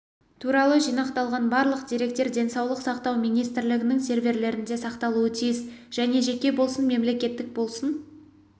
туралы жинақталған барлық деректер денсаулық сақтау министрлігінің серверлерінде сақталуы тиіс және жеке болсын мемлекеттік болсын